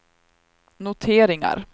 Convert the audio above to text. noteringar